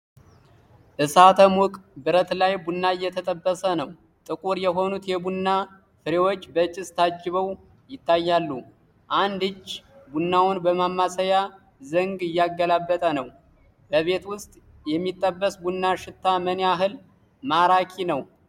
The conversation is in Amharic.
እሳተ-ሙቅ ብረት ላይ ቡና እየተጠበሰ ነው። ጥቁር የሆኑት የቡና ፍሬዎች በጭስ ታጅበው ይታያሉ። አንድ እጅ ቡናውን በማማሰያ ዘንግ እያገላበጠ ነው። በቤት ውስጥ የሚጠበስ ቡና ሽታ ምን ያህል ማራኪ ነው?